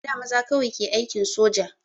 A da maza kawai ke aikin soja